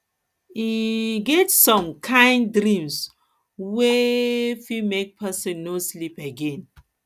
e um get some kain dreams wey um fit make pesin um no sleep again